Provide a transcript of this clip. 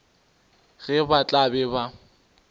ge ba tla be ba